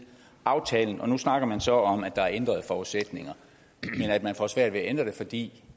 aftalen og nu snakker man så om at der er ændrede forudsætninger men at man får svært ved at ændre det fordi